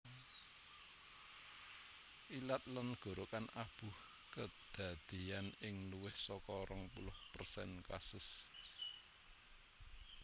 Ilat lan gorokan abuh kedadeyan ing luwih saka rong puluh persen kasus